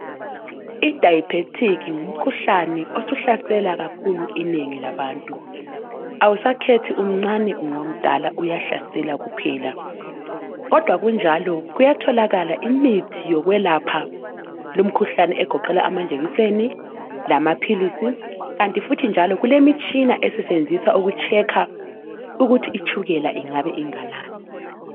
Idiabetis ngumkhuhlane osuhlasela kakhulu inengi labantu awusakhethi umncane ungomdala uyahlasela kuphela kodwa kunjalo Kuyatholakala imithi yokwelapha lumkhuhlane egoqela amaphilisi lamajekiseni, kanti futhi njalo kulemitshina esetshenziswa ukulihlola itshukela ukuthi lingabe linganani.